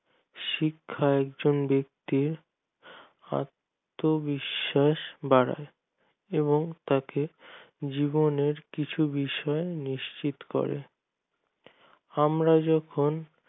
শিক্ষা একজন ব্যাক্তির আত্মবিশ্বাস বাড়ায় এবং তাকে জীবনের কিছু বিষয় নিশ্চিত করে আমরা যখন